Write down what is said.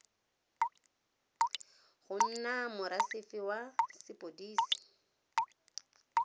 go nna morasefe wa sepodisi